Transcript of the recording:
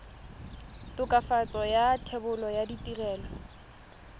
tokafatso ya thebolo ya ditirelo